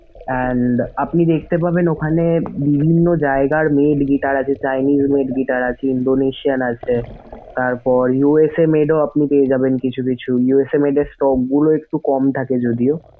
and আপনি দেখতে পাবেন ওখানে বিভিন্ন জায়গার made guitar আছে chinese made guitar আছে indonasian আছে তারপর USA made ও আপনি পেয়ে যাবেন কিছু কিছু USA made এর scope গুলো একটু কম থাকে যদিও।